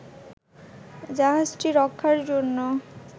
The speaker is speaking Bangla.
জাহাজটি রক্ষার জন্য